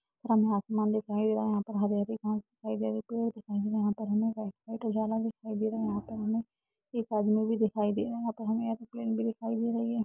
हमें आसमान दिखाई दे रहा है। यहाँ पे हरी हरी घास दिखाई दे रही है पेड़ दिखाई दे रहे है। यहाँ पे हमें व्हाइट-व्हाइट उजला भी दिखाई दे रहा है। यहाँ पे हमें एक आदमी भी दिखाई दे रहा है। यहाँ पे हमें एरोप्लेन भी दिखाई दे रही है।